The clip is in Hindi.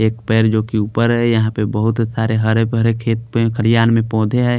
एक पैर जो कि ऊपर हैं यहाँ पे बहोत सारे हरे भरे खेत पे खरियान में पौधे हैं।